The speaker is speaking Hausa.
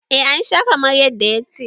eh ana Sha kamar yadda ya ce